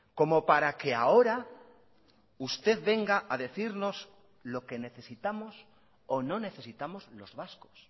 como para que ahora usted venga a decirnos lo que necesitamos o no necesitamos los vascos